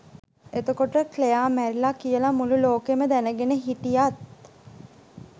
එතකොට ක්ලෙයා මැරිලා කියලා මුළු ලෝකෙම දැනගෙන හිටියත්